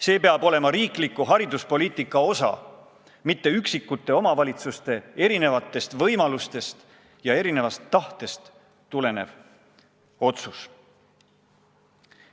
See peab olema riikliku hariduspoliitika osa, mitte üksikute omavalitsuste erinevatest võimalustest ja erinevast tahtest tulenev otsus.